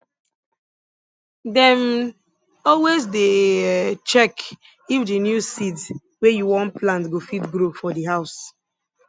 dem um always dey um check if di new seeds wey u wan plant go fit grow for di house